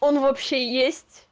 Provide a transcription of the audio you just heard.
он вообще есть